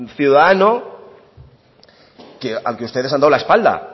ciudadano al que ustedes han dado la espalda